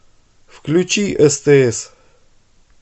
включи стс